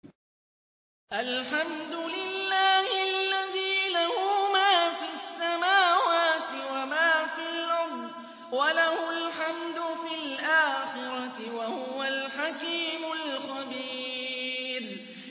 الْحَمْدُ لِلَّهِ الَّذِي لَهُ مَا فِي السَّمَاوَاتِ وَمَا فِي الْأَرْضِ وَلَهُ الْحَمْدُ فِي الْآخِرَةِ ۚ وَهُوَ الْحَكِيمُ الْخَبِيرُ